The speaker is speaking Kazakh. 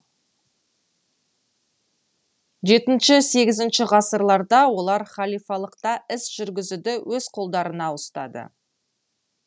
жетінші сегізінші ғасырларда олар халифалықта іс жүргізуді өз колдарында ұстады